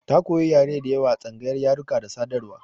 Ta koyi yare da yawa a tsangayar yaruka da sadarwa.